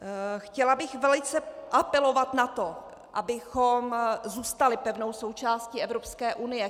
Chtěla bych velice apelovat na to, abychom zůstali pevnou součástí Evropské unie.